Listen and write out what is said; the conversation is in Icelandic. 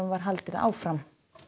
var haldið áfram